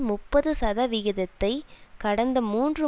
முப்பது சதவிகிதத்தை கடந்த மூன்று